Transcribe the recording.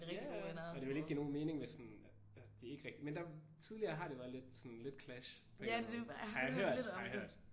Ja ja og det ville ikke give nogen mening hvis sådan at det ikke rigtigt men det tidligere har det været lidt sådan lidt clash på en eller anden måde har jeg hørt. Har jeg hørt